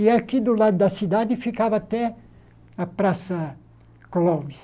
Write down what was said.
E aqui do lado da cidade ficava até a Praça Clóvis.